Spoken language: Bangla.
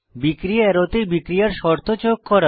বিক্রিয়া অ্যারোতে বিক্রিয়ার শর্ত যোগ করা